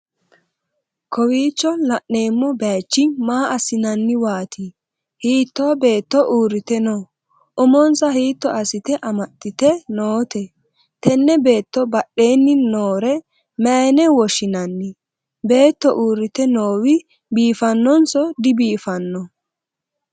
kowiicho la'neemmo bayichi maa assi'nanniwaati? hiitto beetto uurrite no?umonsa hiitto assite amaxxite noote? tenne beetto badheenni noore mayiine woshshinanni? beetto uurrite noowi biifannonso dibiifanno?